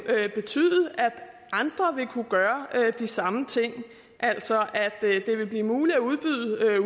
betyde at andre vil kunne gøre de samme ting altså at det vil blive muligt at udbyde